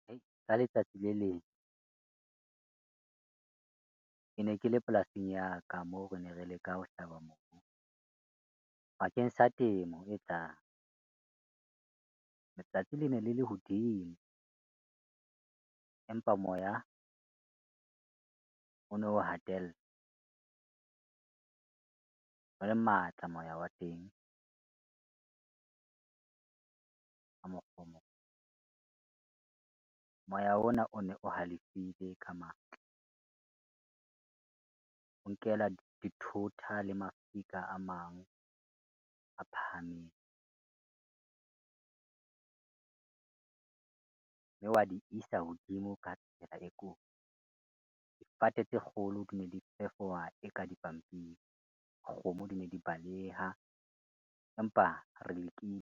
Hei! Ka letsatsi le leng kene ke le polasing ya ka moo rene re leka ho mobu bakeng sa temo e tlang. Letsatsi lene le le hodimo empa moya o no hatella, o le matla moya wa teng . Moya ona one o halefile ka matla, o nkela dithota le mafika a mang a phahameng. Mme wa di isa hodimo ka tsela e kotsi. Difate tse kgolo dine di fefowa e ka dipampiri, kgomo dine di baleha empa re lekile.